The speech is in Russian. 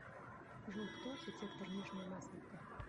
джой кто архитектор нижняя масловка